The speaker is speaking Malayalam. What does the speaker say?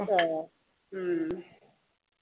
അഹ് ഉം